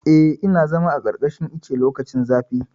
Eh, ina zama a ƙarƙashin ice lokacin zafi.